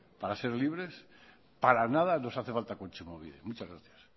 para ser libres para nada nos hace falta kontsumobide muchas gracias